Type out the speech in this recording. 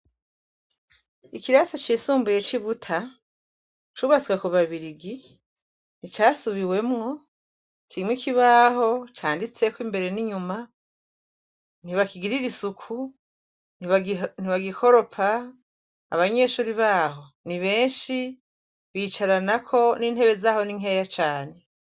Ikirasi cisumbuye c'ibuta cubatswe ku babirigi nticasubiwemwo kimwe kibaho canditseko imbere n'inyuma ntibakigirira isuku ntibagikoropa abanyeshuri baho ni benshi bicara nako nintebe zahona inkeya cane.